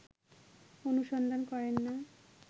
অনুসন্ধান করেন না